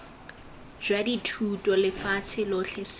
jwa dithuto lefatsheng lotlhe seno